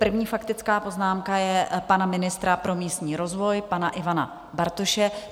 První faktická poznámka je pana ministra pro místní rozvoj pana Ivana Bartoše.